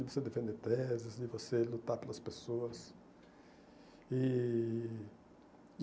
De você defender teses, de você lutar pelas pessoas. E